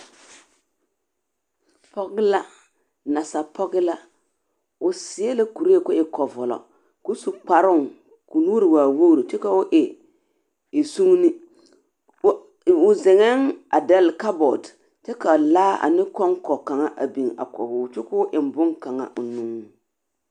Pͻge la nansa pͻge la. O seԑ la kuree koo e kͻvͻlͻ koo su kparoŋ ka o nuuri waa wogiri kyԑ koo e sugini. O zeŋԑԑ a dԑlle kabͻte ka laa ane kͻŋkͻ kaŋa a biŋ a kͻge o kyo koo eŋ boŋkaŋa o nuŋ.